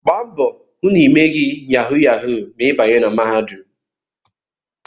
Gba mbọ hụ na ịmeghị yahu yahu ma ị banye na mahadum!